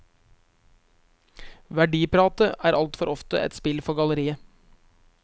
Verdipratet er altfor ofte et spill for galleriet.